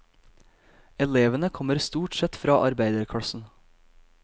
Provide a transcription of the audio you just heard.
Elevene kommer stort sett fra arbeiderklassen.